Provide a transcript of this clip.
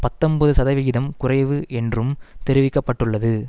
பத்தொன்பது சதவிகிதம் குறைவு என்றும் தெரிவிக்க பட்டுள்ளது